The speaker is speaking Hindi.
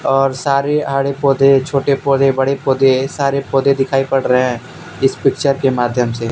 और सारे आड़े पौधे छोटे पौधे बड़े पौधे सारे पौधे दिखाई पड़ रहे हैं इस पिक्चर के माध्यम से।